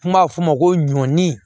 Kuma f'o ma ko ɲɔ ni